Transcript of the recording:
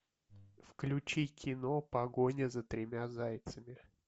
включи кино погоня за тремя зайцами